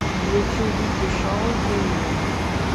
включи вики шоу ты и я